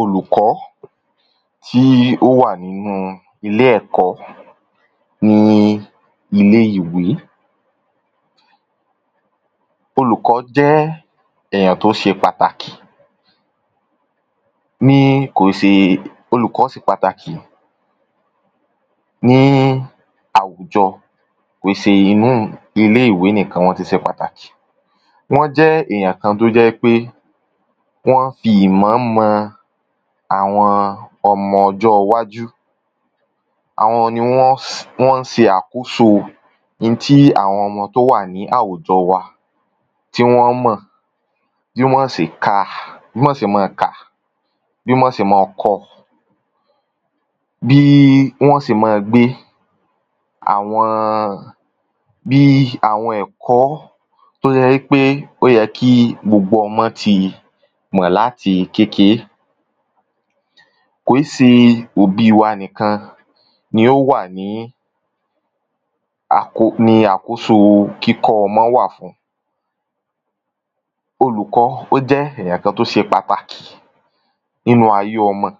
Olùkó̩ tí ó wà nínú ilé è̩kó̩ ní ilé ìwé. Olùkó̩ jé̩ èyàn tó s̩e pàtàkì. Ní kò olúkò̩ s̩e pàtàkì ní àwùjo̩. Kò í se inú ilé ìwé nìkan ni wó̩n ti s̩e pàtàkì. Wó̩n jé̩ èyàn kan tó jé̩ wípé wó̩n fi ìmò̩ mo̩ àwo̩n o̩mo̩ o̩jó̩ iwájú. Àwo̩n ni wó̩n s̩ wó̩n s̩e àkóso ntí àwo̩n tó wà ní àwùjo̩ wa tí wó̩n ó mò̩. Bí wó̩n s̩e ka bí wó̩̃ s̩e má-an kà bí wó̩n s̩e mán-an ko̩. Bí wó̩n ó s̩e mán-an gbé. Àwo̩n bí àwo̩n è̩kó̩ tó jé̩ wípé ó ye̩ kí gbogbo o̩mó̩ ti mò̩ láti kékeé. Kò í se òbí wa níkan ni ó wà ní à ko ni à ko ni àkóso kíkó̩ o̩mo̩ wà fún. Oùkó̩ ó jé̩ èyàn kan tó se pàtàkì nínú ayé o̩mo̩.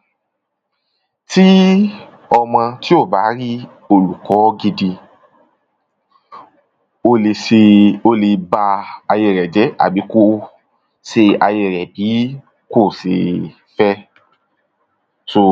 Tí o̩mo̩ tí ò bá rí olùkó̩ gidi ó le se ó le ba ayé rè̩ jé̩. Àbí kó se ayé rè̩ bí kò se fé̩. So...